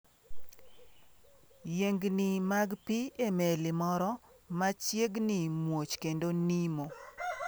Yiengni mag pi e meli moro ma chiegni muoch kendo nimo